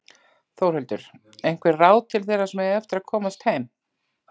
Þórhildur: Einhver ráð til þeirra sem eiga eftir að komast heim?